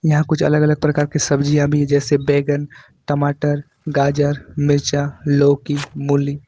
यहां कुछ अलग अलग प्रकार की सब्जी भी जैसे बैगन टमाटर गाजर मिर्चा लौकी मूली।